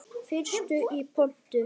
Fyrstur í pontu.